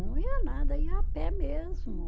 Não ia nada, ia a pé mesmo.